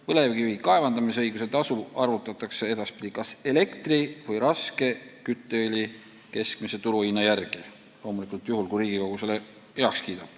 Põlevkivi kaevandamisõiguse tasu arvutatakse edaspidi kas elektri või raske kütteõli keskmise turuhinna järgi, seda loomulikult juhul, kui Riigikogu selle heaks kiidab.